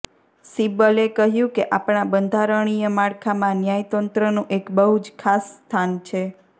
સિબ્બલે કહ્યું કે આપણા બંધારણીય માળખામાં ન્યાયતંત્રનું એક બહુ જ ખાસ સ્થાન છે